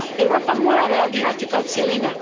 Europa mora reagirati kao cjelina.